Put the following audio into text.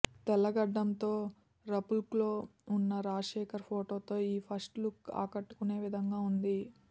తెల్ల గెడ్డంతో రఫ్లుక్లో ఉన్న రాజశేఖర్ ఫొటోతో ఈ ఫస్ట్లుక్ ఆకట్టుకునేవిధంగా ఉంది